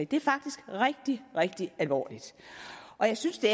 det er faktisk rigtig rigtig alvorligt jeg synes det